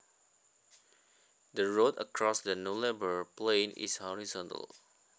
The road across the Nullabor plain is horizontal